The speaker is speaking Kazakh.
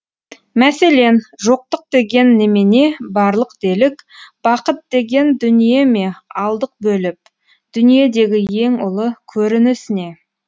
мәселен жоқтық деген немене барлық делік бақыт деген дүние ме алдық бөліпдүниедегі ең ұлы көрініс не